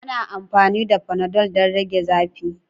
Ana amfani da fanadol don rage zafi.